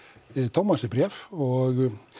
Tómasi bréf og